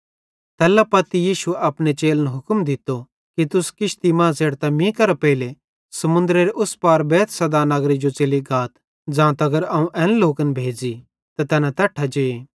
तैल्ला पत्ती यीशुए अपने चेलन हुक्म दित्तो कि तुस किश्ती मां च़ेढ़तां मीं केरां पेइले समुन्दरेरे उस पार बैतसैदा नगरे जो च़ली गाथ ज़ां तगर अवं एन लोकन न भेज़ी त तैना तैट्ठां जे